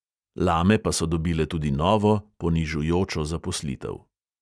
Lame pa so dobile tudi novo, ponižujočo zaposlitev.